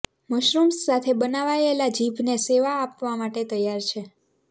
mushrooms સાથે બનાવાયેલા જીભને સેવા આપવા માટે તૈયાર છે